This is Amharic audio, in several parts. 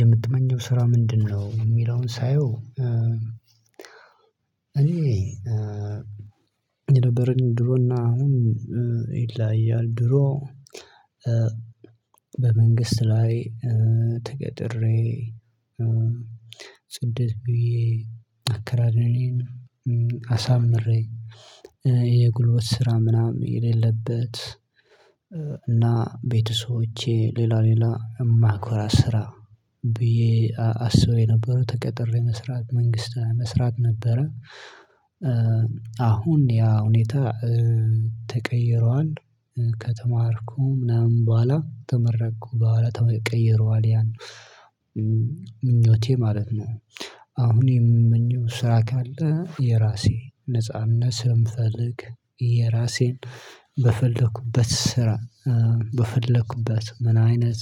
የምትመኘው ስራ ምንድን ነው? የሚለውን ሳየው እኔ የነበረኝ ድሮና አሁን ይለያያል። ድሮ በመንግስት ላይ ተቀጥሬ፣ ጽድት ብዬ፣ አከራረሜን አሳምሬ፣ የጉልበት ስራ ምናምን የሌለበት እና ቤተሰቦቼ ሌላ ሌላ እሚያኮራ ስራ ብዬ አስቤ ነበረ ተቀጥሬ መስራት መንግስት መስራት ነበረ አሁን ያ ሁኔታ ተቀይሯል። ከተማርኩ ምናምን በኋላ ከተመረቅኩ በኋላ ተቀይሯል ያ ምኞቴ ማለት ነው። አሁን የምመኘው ስራ ካለ የራሴ ነጻነት ስለምፈልግ የራሴን በፈለኩበት ስራ በፈለኩበት ምን አይነት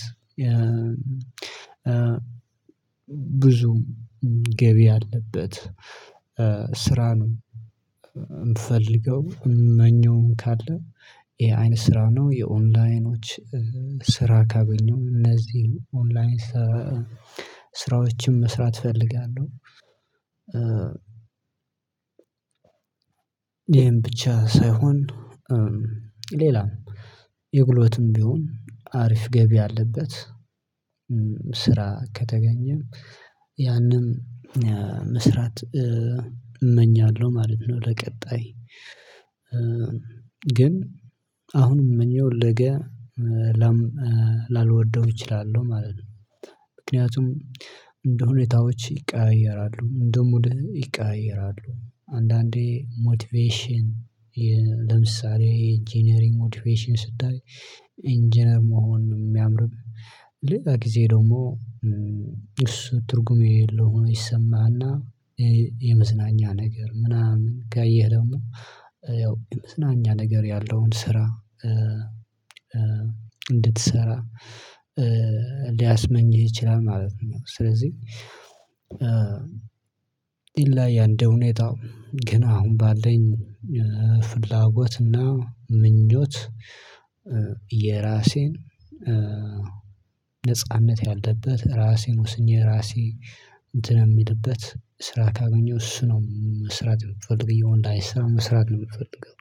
ብዙ ገቢ ያለበት ስራ ነው እምፈልገው። እምመኘውም ካለ ይሄ አይነት ስራ ነው። የኦንላይኖች ስራ ካገኘሁም እነዚህን ኦንላይን ስራዎችን መስራት እፈልጋለሁ። ይሄን ብቻ ሳይሆን ሌላም የጉልበትም ቢሆን አሪፍ ገቢ ያለበት ስራ ከተገኘም ያንን መስራት እመኛለሁ ማለት ነው። ለቀጣይ ግን አሁንም እመኘውን ነገ ላልወደው እችላለሁ ማለት ነው። ምክንያቱም እንደሁኔታዎች ይቀያየራሉ። እንደሙድህም ይቀያየራሉ። አንዳንዴ ሞቲቬሽን ለምሳሌ የኢንጂነሪንግ ሞቲቬሽን ስታይ ኢንጂነር መሆን ነው የሚያምርህ ሌላ ጊዜ ደግሞ እሱ ትርጉም የሌለው ሆኖ ይሰማህና የመዝናኛ ነገር ምናምን ካየህ ደግሞ ያው የመዝናኛ ነገር ያለውን ስራ እንድትሰራ ሊያስመኝህ ይችላል ማለት ነው። ስለዚህ ይለያያል እንደሁኔታው ግን አሁን ባለኝ ፍላጎትና ምኞት የራሴን ነጻነት ያለበት ራሴን ወስኜ ራሴ እንትን የምልበት ስራ ካገኘሁ እሱ ነው መስራት የምፈልገው። የኦንላይን ስራ መስራት ነው የምፈልገው።